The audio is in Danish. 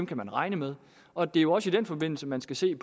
kan man regne med og det er jo også i den forbindelse man skal se